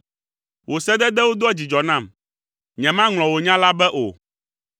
Wò sededewo doa dzidzɔ nam, nyemaŋlɔ wò nya la be o.